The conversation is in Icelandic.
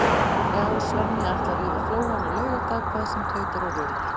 Já, Svenni ætlar yfir Flóann á laugardag hvað sem tautar og raular.